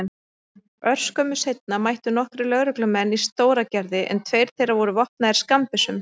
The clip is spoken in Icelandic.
Örskömmu seinna mættu nokkrir lögreglumenn í Stóragerði en tveir þeirra voru vopnaðir skammbyssum.